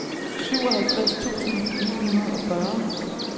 syvoghalvtreds tusind ni hundrede og fyrre